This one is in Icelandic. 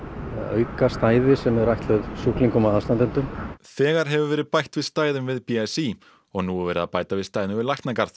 auka stæði sem ætluð sjúklingum og aðstandendum þegar hefur verið bætt við stæðum við b s í og nú er verið að bæta við stæðum við